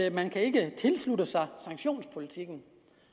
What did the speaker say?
at man ikke kan tilslutte sig sanktionspolitikken